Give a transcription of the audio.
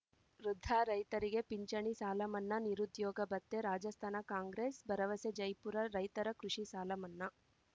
ವೃದ್ಧ ರೈತರಿಗೆ ಪಿಂಚಣಿ ಸಾಲ ಮನ್ನಾ ನಿರುದ್ಯೋಗ ಭತ್ಯೆ ರಾಜಸ್ಥಾನ ಕಾಂಗ್ರೆಸ್‌ ಭರವಸೆ ಜೈಪುರ ರೈತರ ಕೃಷಿ ಸಾಲ ಮನ್ನಾ